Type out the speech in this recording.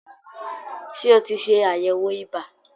Ṣé o ti ṣẹ àyẹ̀wò ibà?